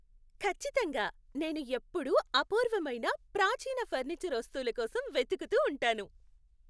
ఖచ్చితంగా! నేను ఎప్పుడూ అపూర్వమైన, ప్రాచీన ఫర్నిచర్ వస్తువుల కోసం వెతుకుతూ ఉంటాను.